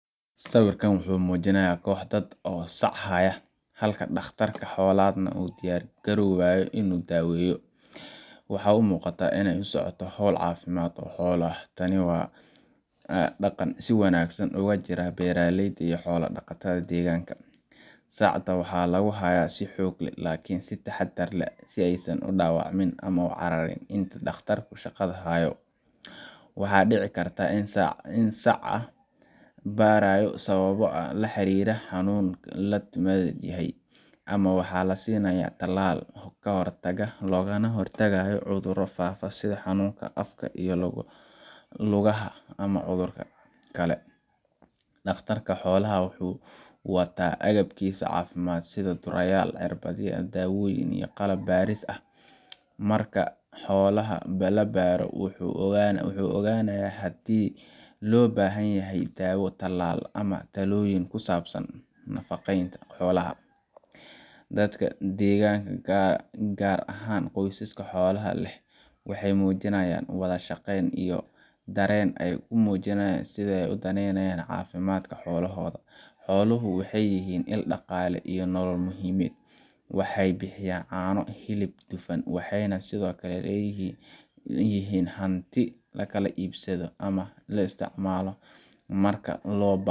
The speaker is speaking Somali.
sawir muujinaya koox dad ah oo sac haya, halka dhakhtar xoolaad uu u diyaargaroobayo inuu daweeyo, waxaa muuqata in ay socoto hawl caafimaad oo xoolo ah. Tani waa dhaqan si wanaagsan uga jira beeraleyda iyo xoola-dhaqatada deegaanka. Sacda waxaa lagu haya si xoog leh, laakiin si taxaddar leh, si aysan u dhaawacmin ama u cararin inta dhakhtarku shaqada hayo. Waxa dhici karta in sacda la baarayo sababo la xiriira xanuun la tuhunsan yahay, ama waxaa la siinayaa tallaal ka hortag ah oo looga hor tagayo cudurro faafa sida xanuunka afka iyo lugaha ama cudurka anthrax. Dhakhtarka xoolaha wuxuu wataa agabkiisa caafimaad sida durayaal, irbadaha, daawooyinka iyo qalab baaris ah. Marka uu xoolaha baaro, wuxuu go’aansadaa haddii loo baahan yahay daawo, tallaal, ama talooyin ku saabsan nafaqeynta xoolaha. Dadka deegaanka, gaar ahaan qoysaska xoolaha leh, waxay muujiyaan wada-shaqeyn iyo dareen ay ku muujinayaan sida ay u daneynayaan caafimaadka xoolahooda. Xooluhu waxay yihiin il dhaqaale iyo nolol muhiim ah waxay bixiyaan caano, hilib, dufan, waxayna sidoo kale yihiin hanti la kala iibsado ama la isticmaalayo marka loo baahdo.